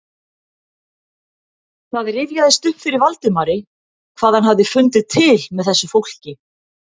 Það rifjaðist upp fyrir Valdimari hvað hann hafði fundið til með þessu fólki.